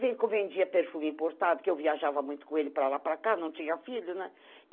Vem que eu vendia perfume importado, que eu viajava muito com ele para lá e para cá, não tinha filho, né?